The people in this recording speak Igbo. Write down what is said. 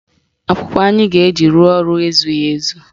Akwụkwọ anyị ga-eji rụọ ọrụ ezughị ezu